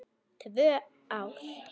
Tvö ár!